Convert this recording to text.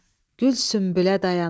gül sümbülə dayana.